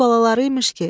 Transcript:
Öz balaları imiş ki.